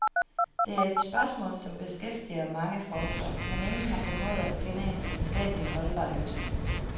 Det er et spørgsmål, som beskæftiger mange forskere, men ingen har formået at finde en videnskabelig holdbar løsning.